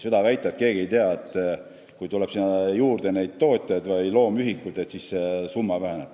Ei saa väita, et keegi ei tea seda, et kui tuleb juurde tootjaid või loomühikuid, siis see summa väheneb.